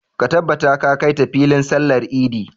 Ka tabbata ka kai ta filin sallar idi!